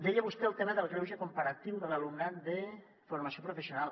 deia vostè el tema del greuge comparatiu de l’alumnat de formació professional